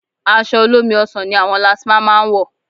Aṣọ olómi ọsàn ni àwọn lastma máa ń wọ̀